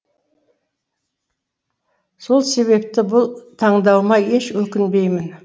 сол себепті бұл таңдауыма еш өкінбеймін